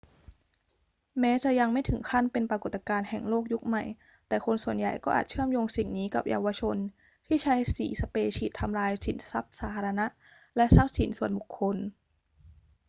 แม้จะยังไม่ถึงขั้นเป็นปรากฏการณ์แห่งโลกยุคใหม่ แต่คนส่วนใหญ่ก็อาจเชื่อมโยงสิ่งนี้กับเยาวชนที่ใช้สีสเปรย์ฉีดทำลายทรัพย์สินสาธารณะและทรัพย์สินส่วนบุคคล